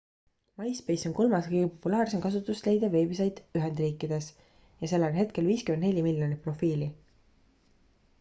myspace on kolmas kõige populaarsem kasutust leidev veebisait ühendriikides ja sellel on hetkel 54 miljonit profiili